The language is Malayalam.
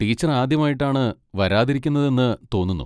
ടീച്ചർ ആദ്യമായിട്ടാണ് വരാതിരിക്കുന്നതെന്ന് തോന്നുന്നു.